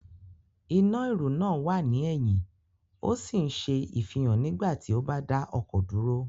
Iná ìrù náà wà ní ẹ̀yìn ó sì ń ṣe ìfihàn nígbà tí o bá dá ọkọ̀ dúró